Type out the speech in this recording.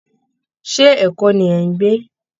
Ṣé Èkó ni ẹ̀ ń gbe